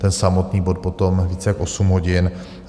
Ten samotný bod potom více jak 8 hodin.